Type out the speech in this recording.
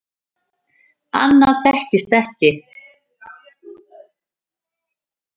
Annað þekktist ekki.